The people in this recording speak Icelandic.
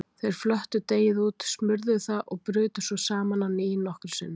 Þeir flöttu deigið út, smurðu það og brutu svo saman á ný nokkrum sinnum.